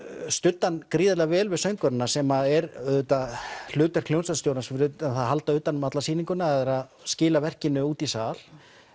studdi hann gríðarlega vel við söngvarana sem er auðvitað hlutverk hljómsveitarstjóra fyrir utan að halda utan um alla sýninguna er að skila verkinu út í sal